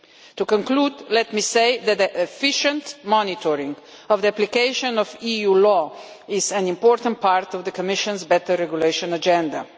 To conclude, let me say that that the efficient monitoring of the application of EU law is an important part of the Commission's better regulation agenda.